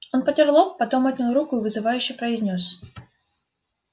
он потёр лоб потом отнял руку и вызывающе произнёс